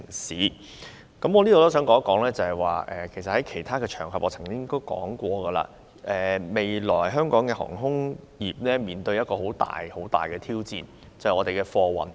事實上，我在其他場合曾指出，香港的航空業將面臨的一項極大挑戰，就是我們的貨運業。